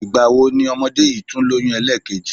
Ìgbà wo ni ọmọdé yìí tún lóyún ẹlẹ́ẹ̀kejì?